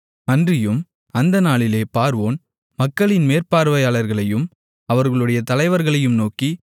அன்றியும் அந்த நாளிலே பார்வோன் மக்களின் மேற்பார்வையாளர்களையும் அவர்களுடைய தலைவர்களையும் நோக்கி